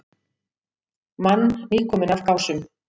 Mann nýkominn af Gásum.